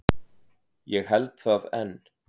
Ég held það enn.